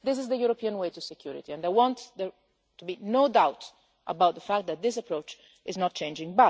This is the European way to security and I want there to be no doubt about the fact that this approach is not changing.